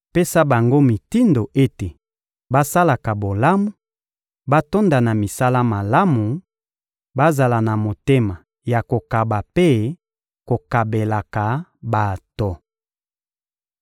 Pesa bango mitindo ete basalaka bolamu, batonda na misala malamu, bazala na motema ya kokaba mpe bakabelaka bato.